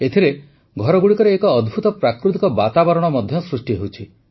ଏଥିରେ ଘରଗୁଡ଼ିକରେ ଏକ ଅଦ୍ଭୁତ ପ୍ରାକୃତିକ ବାତାବରଣ ମଧ୍ୟ ସୃଷ୍ଟି ହେଉଛି